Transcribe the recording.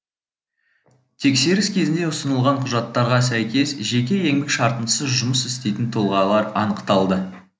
тексеріс кезінде ұсынылған құжаттарға сәйкес жеке еңбек шартынсыз жұмыс істейтін тұлғалар анықталды